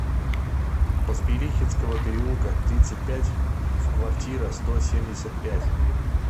поспелихинского переулка тридцать пять в квартира сто семьдесят пять